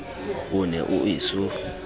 o ne o e so